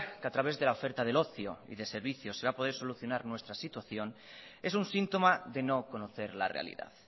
que a través de la oferta del ocio y de servicios se iba a poder solucionar nuestra situación es un síntoma de no conocer la realidad